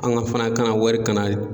An ka fana ka na wari kana